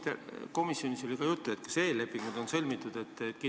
Kas komisjonis oli juttu, kas eellepingud on sõlmitud?